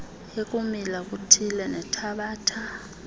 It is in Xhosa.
ekumila kuthile nethabatha